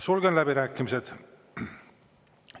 Sulgen läbirääkimised.